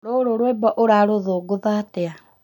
Rũrũ rwĩmbo ũrarũthũngũtha atĩa?